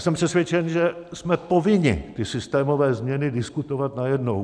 Jsem přesvědčen, že jsme povinni ty systémové změny diskutovat najednou.